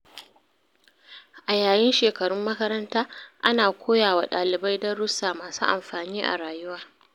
A yayin shekarun makaranta, ana koya wa dalibai darussa masu amfani a rayuwa.